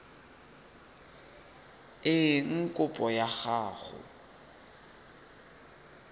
eng kopo ya gago e